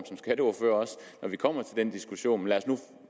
når vi kommer til en diskussion af